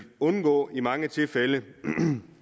undgå i mange tilfælde